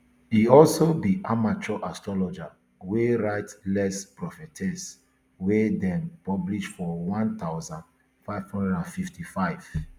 e also be amateur astrologer wey write les prophties wey dem publish for one thousand, five hundred and fifty-five